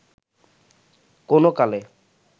কোন কালে